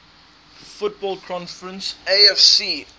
football conference afc